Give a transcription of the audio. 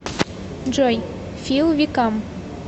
джой фил викам